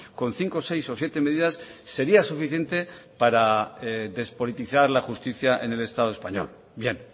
con cinco seis o siete medidas sería suficiente para despolitizar la justicia en el estado español bien